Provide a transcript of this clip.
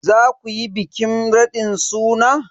Za ku yi bikin raɗin suna?